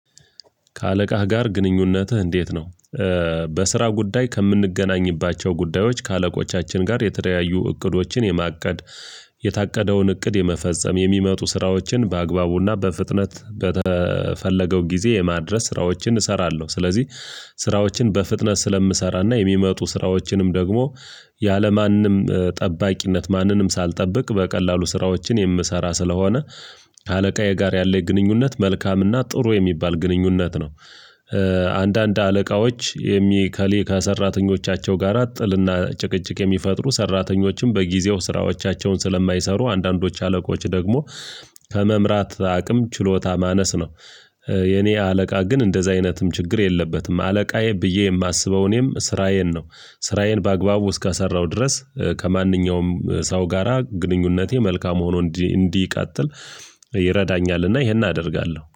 ከአለቃህ ጋር ግንኙነትህ እንዴት ነው? በስራ ጉዳይ ከምንገናኝባቸው ጉዳዮች ከአለቆቻችን ጋር የተደያዩ እቅዶችን የማቀድ የታቀደውን እቅድ የመፈጸም የሚመጡ ስራዎችን በአግባቡና በፍጥነት በተፈለገው ጊዜ የማድረስ ስራዎችን እሰራለሁ ስለዚህ ስራዎችን በፍጥነት ስለምሰራና የሚመጡ ስራዎችንም ደግሞ ያለማንም ጠባቂነት ማንንም ሳልጠብቅ በቀላሉ ስራዎችን የምሰራ ስለሆነ አለቃዬ ጋር ያለኝ ግንኙነት መልካምና ጥሩ የሚባል ግንኙነት ነው አንዳንድ አለቃዎች የከሌላ ከሰራተኞቻቸው ጋራ ጥልና ጭቅጭቅ የሚፈጥሩ ሰራተኞችም በጊዜው ስራዎቻቸውን ስለማይሰሩ አንዳንዶች አለቆች ደግሞ ከመምራት አቅም ችሎታ ማነስ ነው የኔ አለቃ ግን እንደዚህ አይነትም ችግር የለበትም አለቃዬ ብዬ የማስበው እኔም ስራዬን ነው ስራዬን በአግባቡ እስካሰራው ድረስ ከማንኛውም ሰው ጋራ ግንኙነቴ መልካም ሆኖ እንዲቃጥል ይረዳኛልና ይሄን አደርጋለሁ